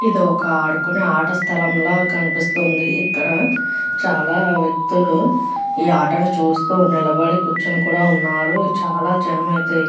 ఇదొక ఆడుకునే ఆటస్థలం లాగా కనిపిస్తుంది ఇక్కడ చాలా వ్యక్తులు ఈ ఆట ను చూస్తూ నిలబడి కూర్చుని కూడా ఉన్నారు చాలా జనం అయితే --